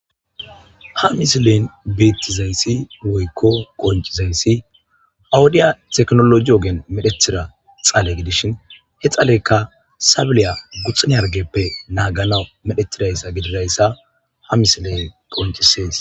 Haisilen betizaysi woyko qonc'izaysi ha wodiyab tekinoloji oven medhetida dhale gidishin he dhaleyka sabiliya guxunne hargeppe naaganas medhetidaysa gididaysa ha misiley qoncises.